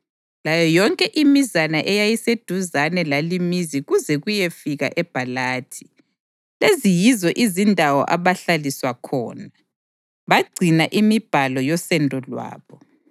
layo yonke imizana eyayiseduzane lalimizi kuze kuyefika eBhalathi. Lezi yizo izindawo abahlaliswa khona. Bagcina imibhalo yosendo lwabo.